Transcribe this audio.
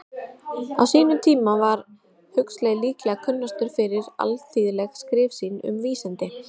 Á sínum tíma var Huxley líklega kunnastur fyrir alþýðleg skrif sín um vísindi.